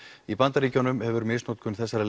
í bandaríkjunum hefur misnotkun þessara